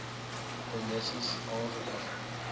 de nisies aangebring